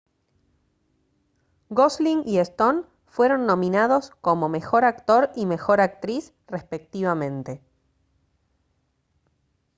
gosling y stone fueron nominados como mejor actor y mejor actriz respectivamente